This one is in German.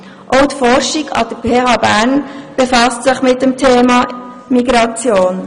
Auch die Forschung an der PHBern befasst sich mit dem Thema Migration.